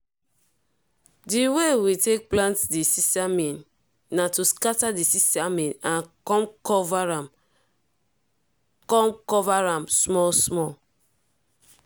di way we take plant di sesame na to scatter the sesame and come cover am come cover am small small.